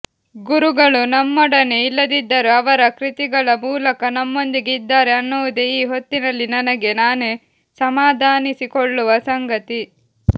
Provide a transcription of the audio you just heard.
ಗುರುಗಳು ನಮ್ಮೊಡನೆ ಇಲ್ಲದಿದ್ದರೂ ಅವರ ಕೃತಿಗಳ ಮೂಲಕ ನಮ್ಮೊಂದಿಗೆ ಇದ್ದಾರೆ ಅನ್ನುವುದೇ ಈ ಹೊತ್ತಿನಲ್ಲಿ ನನಗೆ ನಾನೇ ಸಮಾಧಾನಿಸಿಕೊಳ್ಳುವ ಸಂಗತಿ